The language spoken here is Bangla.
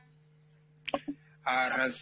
আর,